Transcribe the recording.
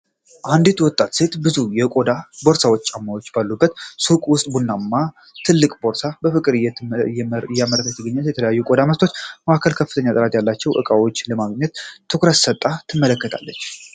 አንዲት ወጣት ሴት ብዙ የቆዳ ቦርሳዎችና ጫማዎች ባሉበት ሱቅ ውስጥ ቡናማ ትልቅ ቦርሳ በፍቅር እየመረመረች ነው። ከተለያዩ የቆዳ ምርቶች መካከል ከፍተኛ ጥራት ያላቸውን ዕቃዎች ለማግኘት ትኩረት ሰጥታ ትመለከታለች።